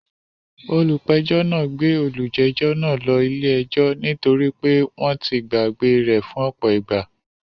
Olùpẹ̀jọ́ náà gbé olùjẹ́jọ́ náà ló ilé ẹjọ́ ní torí pé wọ́n ti gbàgbé e rẹ̀ fún ọ̀pọ̀ ìgbà